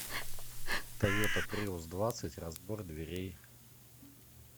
тойота приус двадцать разбор дверей